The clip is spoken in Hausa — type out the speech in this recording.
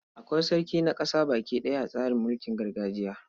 Akwai sarki na ƙasa baki ɗaya a tsarin mulkin gargajiya.